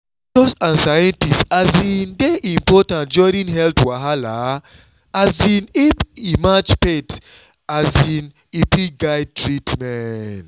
doctors and scientists um dey important during health wahala — um if e match faith um e fit guide treatment.